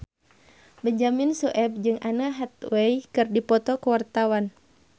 Benyamin Sueb jeung Anne Hathaway keur dipoto ku wartawan